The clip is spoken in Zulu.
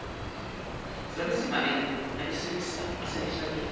zabesimame nabesilisa asebefake